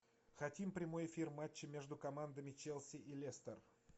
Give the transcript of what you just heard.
хотим прямой эфир матча между командами челси и лестер